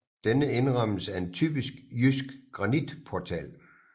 Denne indrammes af en typisk jysk granitportal